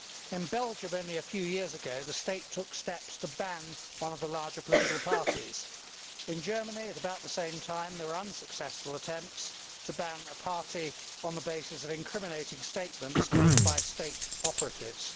In Belgium only a few years ago, the state took steps to ban one of the larger political parties. In Germany, at about the same time, there were unsuccessful attempts to ban a party on the basis of incriminating statements made by state operatives.